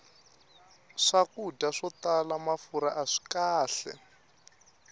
swakudya swo tala mafurha aswi kahle